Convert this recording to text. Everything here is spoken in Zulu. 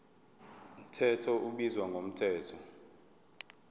mthetho ubizwa ngomthetho